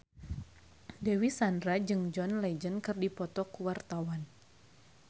Dewi Sandra jeung John Legend keur dipoto ku wartawan